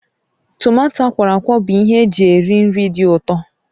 Tomato akwọrọakwọ bụ ihe eji eri nri dị ụtọ